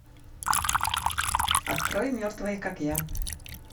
открой мертвые как я